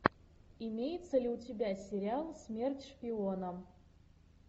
имеется ли у тебя сериал смерть шпионам